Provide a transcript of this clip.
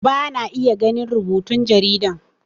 Bana iya ganin rubutun jaridan